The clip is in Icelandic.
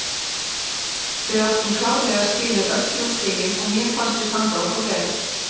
Við áttum klárlega skilið öll þrjú stigin og mér fannst við standa okkur vel.